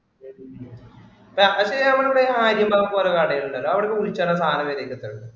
അതിപ്പോ നമ്മടിവിടെ ആര്യൻ ഭാഗത്തൊരു കടയുണ്ടല്ലോ അവിടെ ചോദിച്ചാലോ സാധനം വരീണ്ടോ